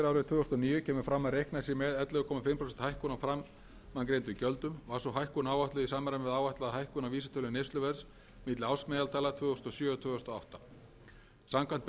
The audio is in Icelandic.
tvö þúsund og níu kemur fram að reiknað sé með ellefu og hálft prósent hækkun á framangreindum gjöldum var sú hækkun áætluð í samræmi við áætlaða hækkun á vísitölu neysluverðs milli ársmeðaltala tvö þúsund og sjö og tvö þúsund og átta samkvæmt